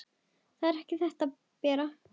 Það er ekki þetta, Bera!